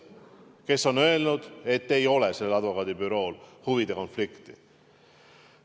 Ja tema on öelnud, et sellel advokaadibürool ei ole huvide konflikti.